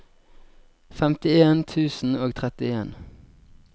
femtien tusen og trettien